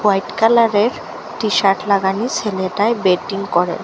White কালারের t-shirt লাগানি ছেলেটায় বেটিং করে।